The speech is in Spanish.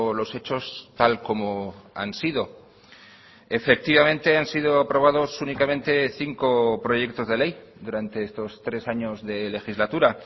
los hechos tal como han sido efectivamente han sido aprobados únicamente cinco proyectos de ley durante estos tres años de legislatura